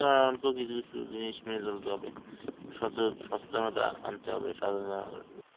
কিছু জিনিস নিয়ে চলতে হবে. সচ~ সচেতনতা আনতে হবে .